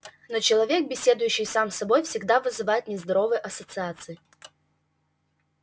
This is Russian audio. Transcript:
но человек беседующий сам с собой всегда вызывает нездоровые ассоциации